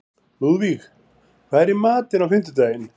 Lúðvíg, hvað er í matinn á fimmtudaginn?